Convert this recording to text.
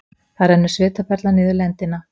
Það rennur svitaperla niður lendina.